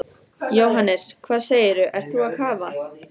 Jóhannes: Hvað segirðu, ert þú að kafa?